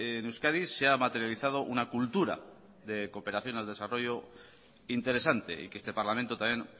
en euskadi se ha materializado una cultura de cooperación al desarrollo interesante y que este parlamento también